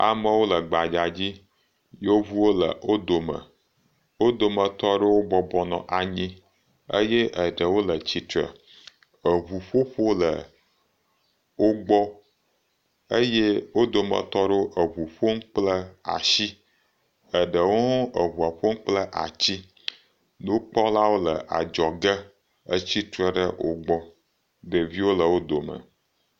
Amewo le gbadza dzi, yevuwo le wo dome, wo dometɔ aɖewo bɔbɔ nɔ anyi eye eɖewo le tsitre, eŋuƒoƒo le wo gbɔ eye wo dometɔ aɖewo eŋu ƒom kple atsi, eɖewo hã eŋua ƒom kple ati, nukpɔlawo le adzɔge, etsi tre ɖe wo gbɔ, ɖeviwo le wo dome.